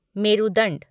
मेरुदंड